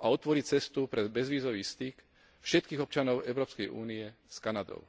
a otvorí cestu pre bezvízový styk všetkých občanov Európskej únie s Kanadou.